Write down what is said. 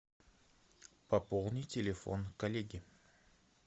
пополни телефон коллеги